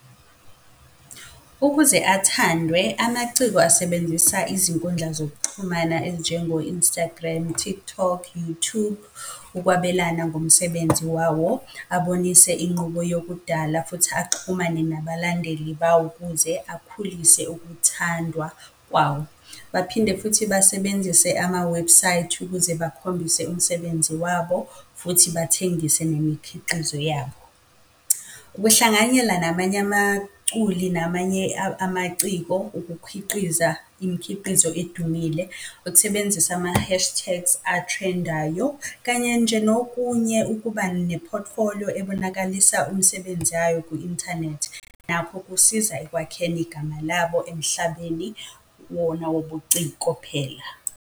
Ukuze athandwe amaciko asebenzisa izinkundla zokuxhumana ezinjengo-Instagram, TikTok, Youtube, ukwabelana ngomsebenzi wawo, abonise inqubo yokudala futhi axhumane nabalandeli bawo ukuze akhulise ukuthandwa kwawo. Baphinde futhi basebenzise amawebhusayithi ukuze bakhombise umsebenzi wabo futhi bathengise nemikhiqizo yabo. Ukuhlanganyela namanye amaculi namanye amaciko ukukhiqiza imikhiqizo edumile, ukusebenzisa ama-hashtags athrendayo kanye nje nokunye, ukuba ne-portfolio ebonakalisa umsebenzi yayo kwi-inthanethi nakho kusiza ekwakheni igama labo emhlabeni wona wobuciko phela.